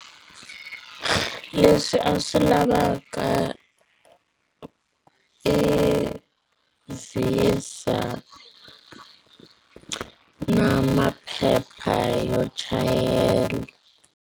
Leswi a swi lavaka i VISA na maphepha yo chayela.